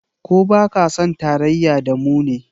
Ko ba ka son tarayya da mu ne?